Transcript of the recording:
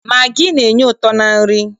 Magị na-enye ụtọ na nri.